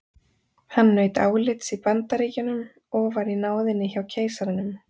Hann naut álits í Bandaríkjunum og var í náðinni hjá keisaranum.